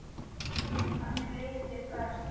Þannig leið þér best.